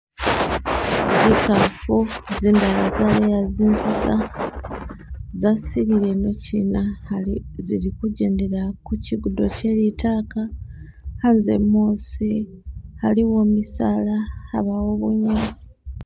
Zikaafu zindayi, zindala zaleeya zinziga , za silile ino chiina hali zili ku jendele'a chigudo che litaaka, hanze muusi , aliwo misaala abaawo bunyaasi.